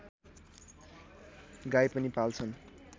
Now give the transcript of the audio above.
गाई पनि पाल्छन्